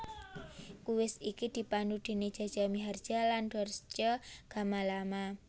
Kuis iki dipandu déné Jaja Miharja lan Dorce Gamalama